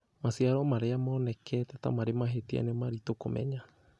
Maciaro marĩa monekete ta marĩ mahĩtia nĩ maritũ kũmenya.